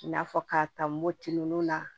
I n'a fɔ k'a ta moti ninnu na